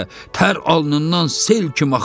Tər alnından sel kimi axır.